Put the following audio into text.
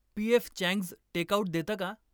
PF changes take out देतं का ?